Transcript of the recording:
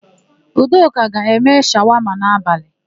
Udoka ga-eme shawama n'abalị.